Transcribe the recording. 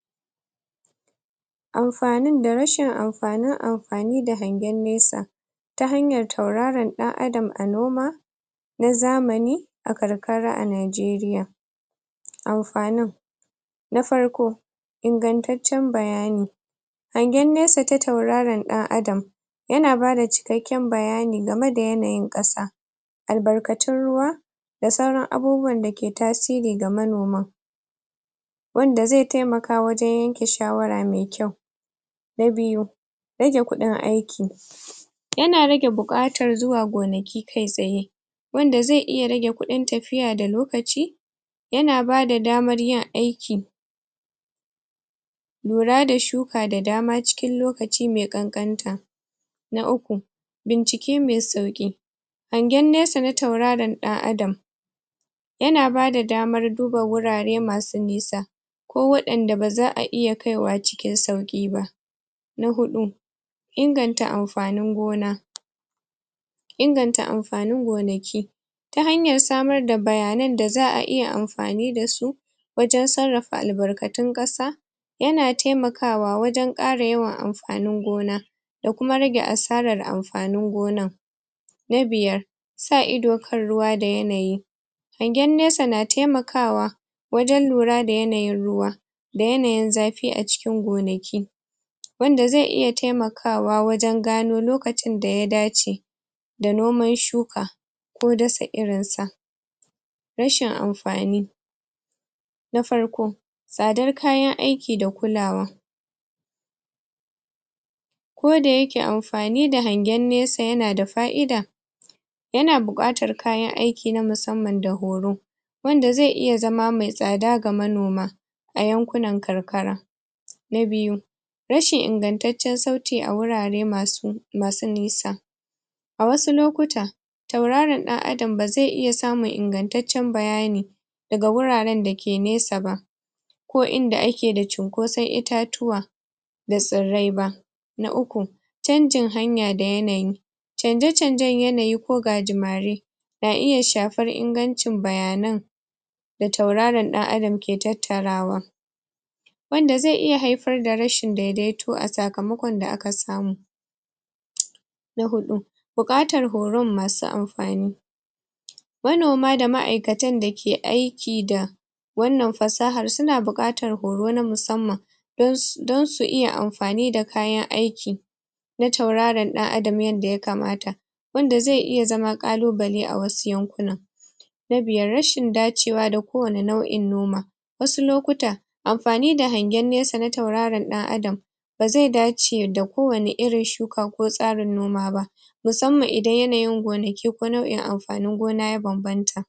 Amfanin da rashin amfani amfani da hangen nesa ta hanyar tauraron ɗan adam a noma na zamani a karkara a Nijeriya, amfanin Na farko ingantaccen bayani hangen nesa ta tauraron ɗan adam yana bada cikakken bayani game da yanayin ƙasa albarkatun ruwa da sauran abubuwan da ke tasiri ga manoma wanda zai taimaka wajen yanke shawara me kyau, na biyu rage kuɗin aiki yana rage buƙatar zuwa gonaki kai tsaye wanda zai iya rage kuɗin tafiya da lokaci yana bada damar yin aiki ura da shuka da dama cikin lokaci me ƙanƙanta na uku bincike me sauƙi hangen nesa na tauraron ɗan adam yana bada damar duba wurare masu nisa ko waɗanda ba za a iya kaiwa cikin sauƙi ba Na huɗu inganta amfanin gona inganta amfanin gonaki ta hanyar samar da bayanan da za a iya amfani da su wajen sarrafa albarkatun ƙasa yana taimakawa wajen ƙara yawan amfanin gona da kuma rage asarar amfanin gonan na biyar sa ido kan ruwa da yanayi hangen nesa na taimakawa wajen lura da yanayin ruwa da yanayin zafi a cikin gonaki wanda zai iya taimakawa wajen gano lokacin da ya dace da noman shuka ko dasa irinsa rashin amfani na farko tsadar kayan aiki da kulawa koda yake amfani da hangen nesa yana da fa’ida yana buƙatar kayan aiki na musamman da horo anda zai iya zama mai tsada ga manoma a yankunan karkara na biyu rashin ingantaccen sauti a wurare masu masu nisa, a wasu lokuta tauraron ɗan adam ba zai iya samun ingantaccen bayani daga wuraren da ke nesa ba ko inda ake da cunkosan itatuwa da tsirrai ba na uku canjin hanya da yanayi canje-canjen yanayi ko gajimare na iya shafar ingancin bayanan da tauraron ɗan adam ke tattarawa wanda zai iya haifar da rashin daidaito a sakamakon da aka samu Na huɗu buƙatar horon masu amfani manoma da ma’aikatan da ke aiki da wannan fasahar suna buƙatar horo na musamman don su don su iya amfani da kayan aiki na tauraron ɗan adam yadda yakamata wanda zai iya zama ƙalubale a wasu yankunan Na biyar, rashin dacewa da kowane irin nau’in noma wasu lokuta amfani da hangen nesa na tauraron ɗan adam zai dace da kowane irin shuka ko tsarin noma ba musamman idan yanayin gonaki ko nau’in amfani gona ya bambanta